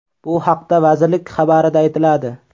Bu haqda vazirlik xabarida aytiladi .